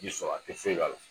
Ji sɔrɔ a te foye k'ala